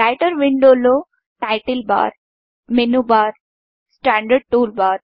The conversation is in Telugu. రైటర్ విండోలో title bar menu bar standard toolbar